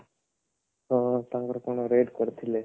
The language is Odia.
ହଁ ତାଙ୍କର କଣ rad ପଡିଥିଲେ